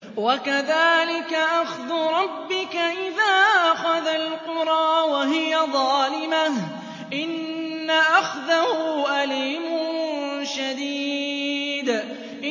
وَكَذَٰلِكَ أَخْذُ رَبِّكَ إِذَا أَخَذَ الْقُرَىٰ وَهِيَ ظَالِمَةٌ ۚ إِنَّ أَخْذَهُ أَلِيمٌ شَدِيدٌ